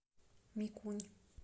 микунь